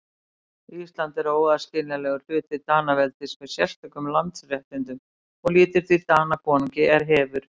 Ísland er óaðskiljanlegur hluti Danaveldis með sérstökum landsréttindum og lýtur því Danakonungi er hefir.